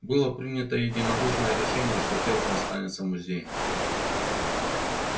было принято единодушное решение что ферма останется музеем